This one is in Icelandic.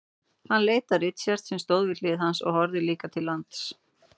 Hann leit á Richard sem stóð við hlið hans og horfði líka til lands.